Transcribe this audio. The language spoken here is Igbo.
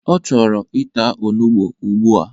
Ọ chọrọ ịta onugbo ugbua!